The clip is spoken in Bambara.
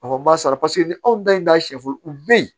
A ma sara paseke ni anw ta in t'a sɛfo u bɛ yen